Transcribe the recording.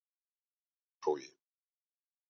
Fagraskógi